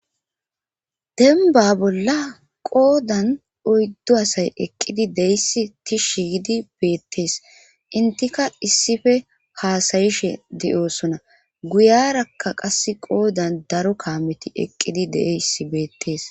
denba bolla qoodan oyddo asay eqqidi deyssi tishshi giidi beettees intika issife haasayishe de7osona guyarakka qass qoodan daro kaameti eqqidi deeyssi beettees